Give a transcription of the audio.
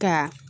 Ka